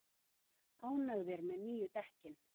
Ánægðir með nýju dekkin